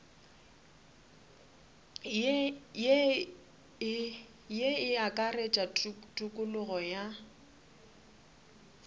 ye e akaretša tokologo ya